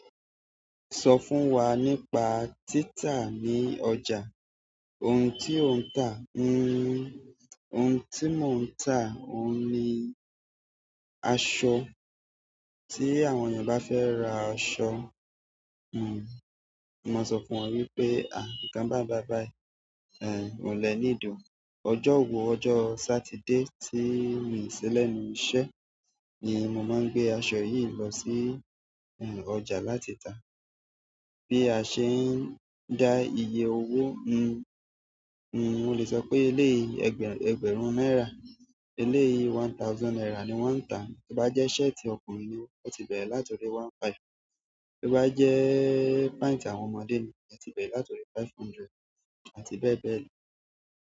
Sọ fún wa nípa títà ní ọjà, ohun tí ò ń tà. N n, ohun tí mò ń tà, òun ni aṣọ. Tí àwọn ènìyàn bá fẹ́ ra aṣọ, n n, mo máa sọ fún wọn wípé, "à nìkan bá bàyi bayi ehn oun le need o ojo wo, ọjà satide ti mi si lẹ́nu iṣẹ́ ni mo ma n gbe aṣọ yi lo si ọjà láti ta. Bí a ṣe ń dá iye owó, n n, n n, mo lè sọ pé lé i ẹgbẹ̀rún náírà, lé i one thousand naira ni wọ́n ń tà. Bí bá jẹ́ ṣẹ́ẹ̀tì ọkùnrin ni, ó ti bẹ̀rẹ̀ láti orí one five. To bá jẹ́ pent àwọn ọmọdé ni, ó ti bẹ̀rẹ̀ láti orí five hundred àti bẹ́ẹ̀ bẹ́ẹ̀ lọ."